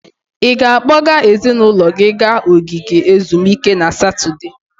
Ị ga-akpọga ezinụlọ gị gaa ogige ezumike na Satọde?